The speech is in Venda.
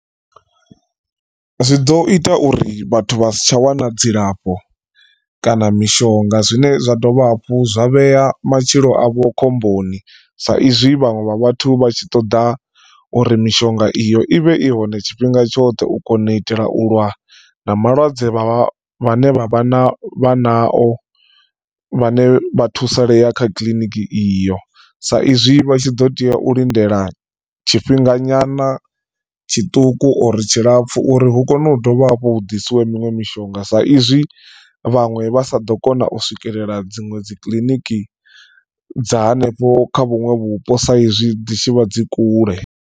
Zwi ḓo ita uri vhathu vha si tsha wana dzilafho kana mishonga zwine zwa dovha hafhu zwa vhea matshilo avho khomboni sa izwi vhaṅwe vha vhathu vha tshi ṱoḓa uri mishonga iyo ivhe i hone tshifhinga tshoṱhe u kona u itela u lwa na malwadze vha vhane vha vha na vha na o vhane vha thusalea kha kiḽiniki iyo. Sa izwi vha tshi ḓo tea u lindela tshifhinga nyana tshiṱuku or tshilapfu uri hu kone u dovha hafhu hu ḓisiwe miṅwe mishonga sa izwi vhaṅwe vha sa ḓo kona u swikelela dziṅwe dzi kiliniki dza hanefho kha vhuṅwe vhupo saizwi dzi tshi vha dzi kule.